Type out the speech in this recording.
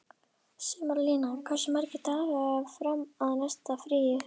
Sumarlína, hversu margir dagar fram að næsta fríi?